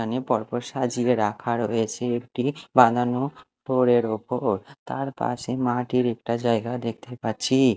এখানে পরপর সাজিয়ে রাখা রয়েছে একটি বানানো ওপর তার পাশে মাটির একটা জায়গা দেখতে পাচ্ছি।